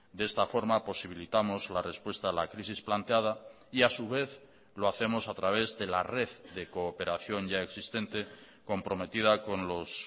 de esta forma posibilitamos la respuesta a la crisis planteada y a su vez lo hacemos a través de la red de cooperación yaexistente comprometida con los